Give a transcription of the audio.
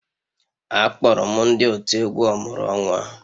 Akpọrọ m ndị otu egwu ọmụrụ-onwa